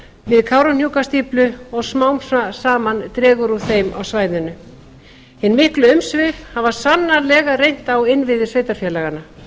við kárahnjúkastíflu og smám saman dregur úr þeim á svæðinu hin miklu umsvif hafa sannarlega reynt á innviði sveitarfélaganna